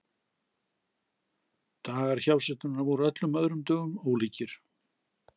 Dagar hjásetunnar voru öllum öðrum dögum ólíkir.